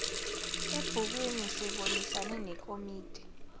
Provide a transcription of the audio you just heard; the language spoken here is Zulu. ebhukwini sibonisane nekomiti